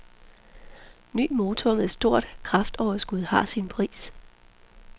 Ny motor med stort kraftoverskud har sin pris.